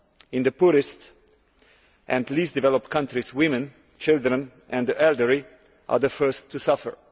In the poorest and least developed countries, women, children and the elderly are the first to suffer.